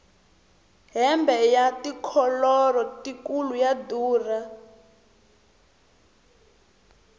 hembe ya tikholoro tikulu ya durha